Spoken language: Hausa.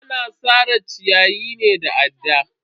Ana sare ciyayi ne da adda.